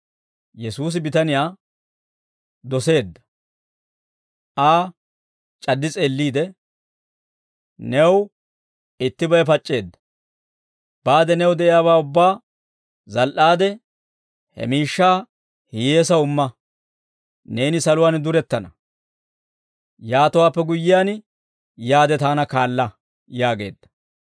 Yesuusi bitaniyaa doseedda; Aa c'addi s'eelliide, «New ittibay pac'c'eedda; baade new de'iyaabaa ubbaa zal"aade, he miishshaa hiyyeesaw imma; neeni saluwaan durettana. Yaatowaappe guyyiyaan yaade taana kaala» yaageedda.